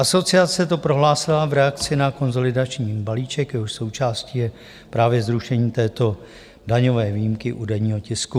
Asociace to prohlásila v reakci na konsolidační balíček, jehož součástí je právě zrušení této daňové výjimky u denního tisku.